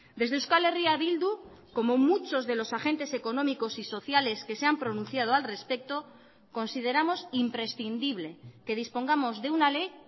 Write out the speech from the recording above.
desde euskal herria bildu como muchos de los agentes económicos y sociales que se han pronunciado al respecto consideramos imprescindible que dispongamos de una ley